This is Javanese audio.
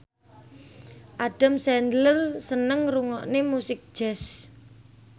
Adam Sandler seneng ngrungokne musik jazz